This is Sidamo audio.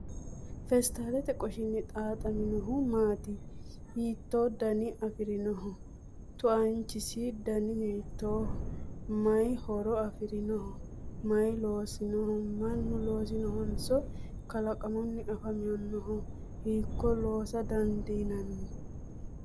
Feestaalete qoshinni xaaxaminohu maati? Hiittoo dana afirinoho? Tuanchisi dani hiittooho? Maay horo afirinoho? May loosinoho? Mannu loosinohonso kalaqammunni afi'nanniho? Hiikko loosa dandiinanni?